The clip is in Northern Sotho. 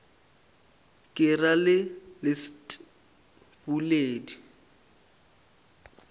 ke ra le leset bobedi